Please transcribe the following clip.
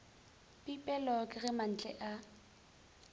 pipelo ke ge mantle a